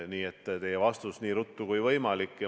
Nii et vastus teile on: nii ruttu kui võimalik.